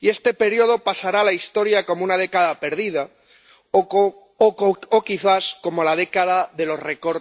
y este periodo pasará a la historia como una década perdida o, quizás, como la década de los recortes en Europa.